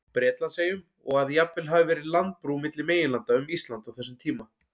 Bretlandseyjum, og að jafnvel hafi verið landbrú milli meginlanda um Ísland á þessum tíma.